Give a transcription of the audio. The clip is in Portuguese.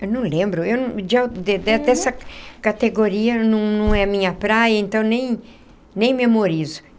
Eu não lembro... eu não de de dessa categoria não é a minha praia, então nem... nem memorizo.